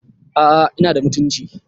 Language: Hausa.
aa inada mutunci